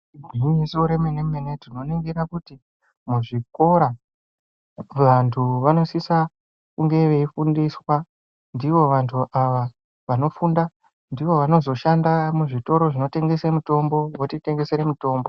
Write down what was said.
Gwinyiso remene mene, tinoningira kuti muzvikora vantu vanosisa kunge veifundiswa ndivo vantu ava vanofunda ndivo vanozoshanda muzvitoro zvinotengese mitombo votitengesere mitombo.